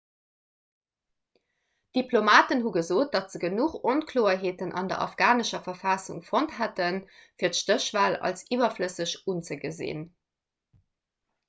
diplomaten hu gesot datt se genuch onkloerheeten an der afghanescher verfassung fonnt hätten fir d'stéchwal als iwwerflësseg unzegesinn